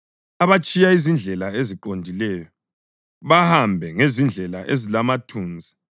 abatshiya izindlela eziqondileyo, bahambe ngezindlela ezilamathunzi,